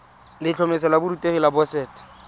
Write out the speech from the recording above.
letlhomeso la borutegi la boset